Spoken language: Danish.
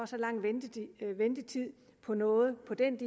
så lang ventetid på noget